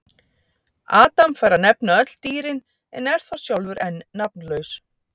Adam fær að nefna öll dýrin en er þá sjálfur enn nafnlaus: